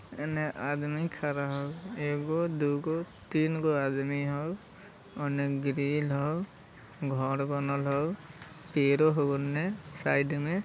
एने आदमी खड़ा होउ एगो दू गो तीन गो आदमी होउ उने गिरील होउ घर बनल होउ पेड़ो हो उने साइड में।